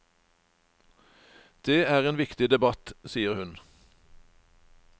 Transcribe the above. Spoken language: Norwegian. Det er en viktig debatt, sier hun.